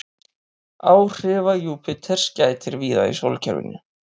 Áhrifa Júpíters gætir víða í sólkerfinu.